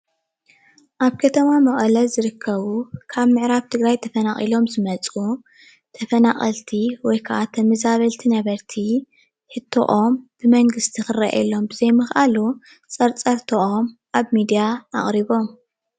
ኣብ ከተማ መቀለ ዝርከቡ ካብ ምዕራብ ትግራይ ተፈናቂሎም ዝመፁ ተፈናቀልቲ ወይ ክዓ ተመዛበልቲ ነበርቲ ሕቶኦም ብመንግስቲ ክረአየሎም ብዘይምክኣሉ ፀርፀርትኦም ኣብ ምድያ ኣቅሪቦም፡፡